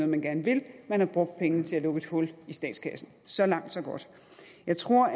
man gerne ville man har brugt pengene til at lukke et hul i statskassen så langt så godt jeg tror